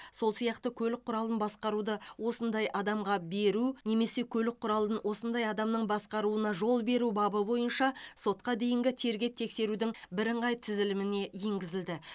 сол сияқты көлік құралын басқаруды осындай адамға беру немесе көлік құралын осындай адамның басқаруына жол беру бабы бойынша сотқа дейінгі тергеп тексерудің бірыңғай тізіліміне енгізілді